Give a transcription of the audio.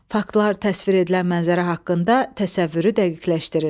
Faktlar təsvir edilən mənzərə haqqında təsəvvürü dəqiqləşdirir.